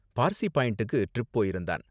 பார்சி பாயிண்டுக்கு ட்ரிப் போயிருந்தான்.